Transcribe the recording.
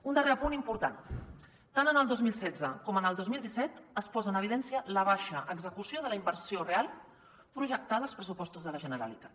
un darrer apunt important tant el dos mil setze com el dos mil disset es posa en evidència la baixa execució de la inversió real projectada als pressupostos de la generalitat